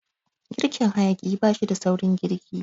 Girkin hayaƙi bashida saurin girki.